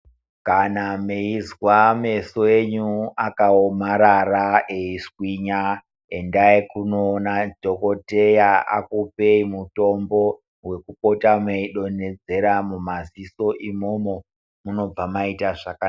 Kana meizwa meso enyu akaomarara eiswinya endai kunoona dhogodheya akupei mitombo wekupota meidonhedzera mumaziso umomo munobva maita zvakanaka.